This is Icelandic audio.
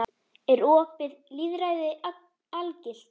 Er opið lýðræði algilt?